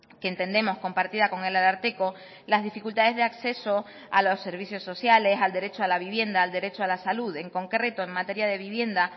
que entendemos compartida con el ararteko las dificultades de acceso a los servicios sociales al derecho a la vivienda al derecho a la salud en concreto en materia de vivienda